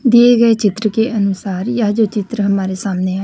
दिए गए चित्र के अनुसार यह जो चित्र हमारे सामने है।